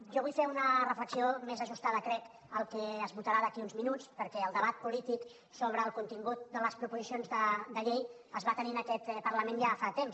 jo vull fer una reflexió més ajustada crec al que es votarà d’aquí a uns minuts perquè el debat polític sobre el contingut de les proposicions de llei es va tenir en aquest parlament ja fa temps